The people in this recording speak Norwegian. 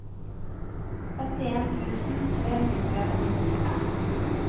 åttien tusen tre hundre og nittiseks